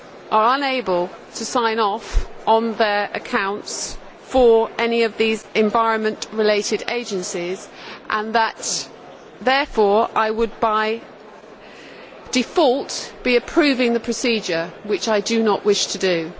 are unable to sign off on their accounts for any of these environment related agencies and therefore I would by default be approving the procedure, which I do not wish to do.